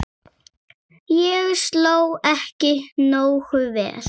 Ég sló ekki nógu vel.